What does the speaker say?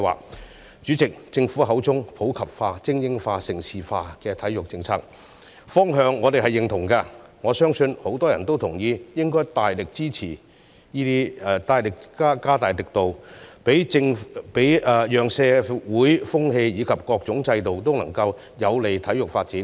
代理主席，對於政府口中的"普及化、精英化、盛事化"體育政策，我們認同其方向，我亦相信很多人都同意加大力度，令社會風氣及各種制度均有利於體育發展。